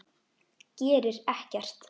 Gerir ekkert.